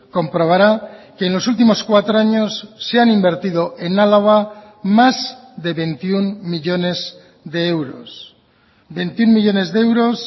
comprobará que en los últimos cuatro años se han invertido en álava más de veintiuno millónes de euros veintiuno millónes de euros